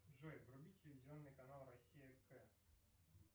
джой вруби телевизионный канал россия к